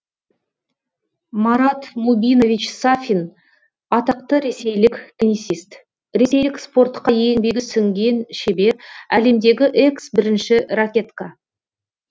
марат мубинович сафин атақты ресейлік теннисист ресейлік спортқа еңбегі сіңген шебер әлемдегі экс бірінші ракетка